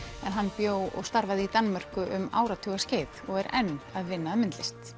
en hann bjó og starfaði í Danmörku um áratugaskeið og er enn að vinna að myndlist